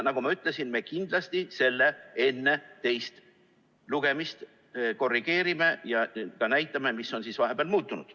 Nagu ma ütlesin, me kindlasti seda enne teist lugemist korrigeerime ja ka näitame, mis on vahepeal muutunud.